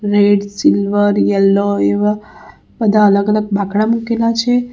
Red silver yellow એવા બધા અલગ અલગ બાકડા મુકેલા છે.